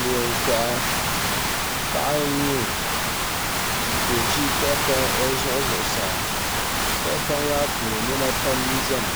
Neen koha paɣa n nyɛ o ka o ʒi tahapoŋ o zuɣu zuɣusaa tahapoŋ maa puuni niɛma pam n biɛni